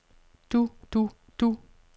du du du